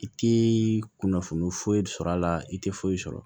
I ti kunnafoniya foyi sɔrɔ a la i te foyi sɔrɔ